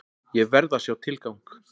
Ég verð að sjá tilgang!